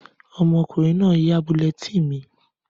Ọmọkùnrin náà n yá bulletin mi